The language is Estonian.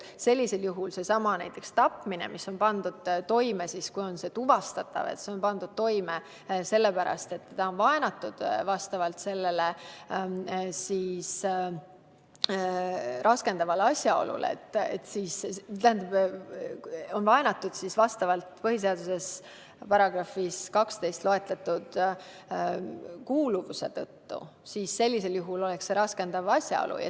Näiteks tapmine, mis on toime pandud seoses vaenamisega põhiseaduse §-s 12 nimetatud kuuluvuse tõttu, oleks sellisel juhul käsitletav raskendavatel asjaoludel.